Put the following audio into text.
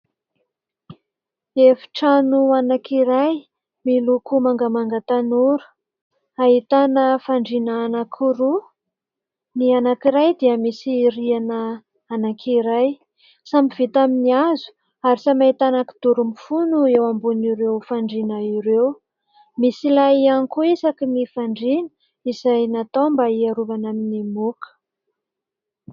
Efitrano anankiray miloko mangamanga tanora ahitana fandriana anankiroa, ny anankiray dia misy rihana anankiray samy vita amin'ny hazo ary samy ahitana kidoro mifono eo ambonin'ireo fandriana ireo. Misy lay ihany koa isaky ny fandriana izay natao mba iarovana amin'ny moka.